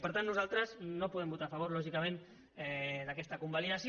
per tant nosaltres no podem votar a favor lògicament d’aquesta convalidació